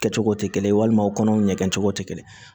Kɛcogo tɛ kelen ye walima u kɔnɔw ɲɛgɛn cogo tɛ kelen